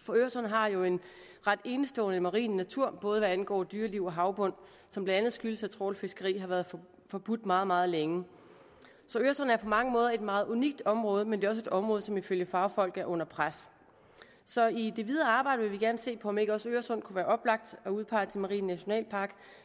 for øresund har jo en ret enestående marin natur både hvad angår dyreliv og havbund som blandt andet skyldes at trawlfiskeri har været forbudt meget meget længe så øresund er på mange måder et meget unikt område men det er også et område som ifølge fagfolk er under pres så i det videre arbejde vil vi gerne se på om ikke også øresund kunne være oplagt at udpege til marin nationalpark